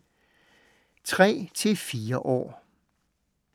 3-4 år